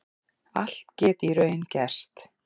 Allt geti í raun gerst